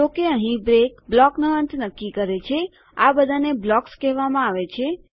જોકે અહીં બ્રેક બ્લોકનો અંત નક્કી કરે છેઆ બધાને બ્લોકસ કહેવામાં આવે છે